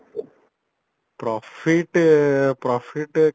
profit profit